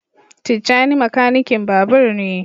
Tijjani makanikin babur ne.